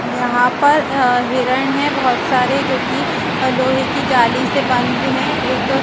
यहाँ पर अ हिरन है बहुत सारे जो की लोहे की जाली से बंद है एक--